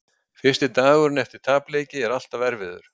Fyrsti dagurinn eftir tapleiki er alltaf erfiður.